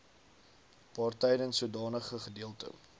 waartydens sodanige gedeelte